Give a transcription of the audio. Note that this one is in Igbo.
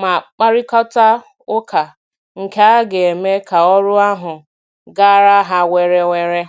ma kparịkọta ụka, nkea ga-eme ka ọrụ ahụ gaara ha were were